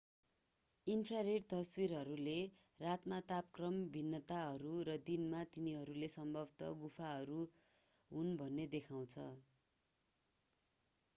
infrared तस्विरहरूले रातका तापक्रम भिन्नताहरू र दिनले तिनीहरू सम्भावतः गुफाहरू हुन् भन्ने देखाउँछ